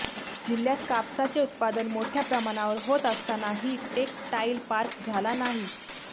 जिल्ह्यात कापसाचे उत्पादन मोठ्या प्रमाणावर होत असतानाही टेक्स्टाईल पार्क झाला नाही